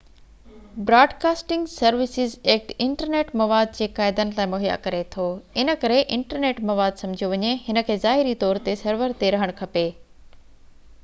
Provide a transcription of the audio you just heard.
broadcasting services act internet مواد جي قاعدن لاءِ مهيا ڪري ٿو ان ڪري انٽرنيٽ مواد سمجهيو وڃي هن کي ظاهري طور تي سرور تي رهڻ کپي